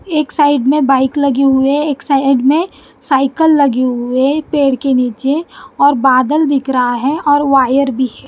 एक साइड में बाइक लगे हुए एक साइड में साइकिल लगे हुए पेड़ के नीचे और बादल दिख रहा है और वायर भी है।